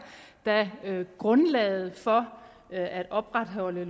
da grundlaget for at opretholde